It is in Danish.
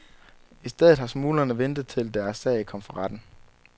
I stedet har smuglerne ventet til, deres sag kom for retten.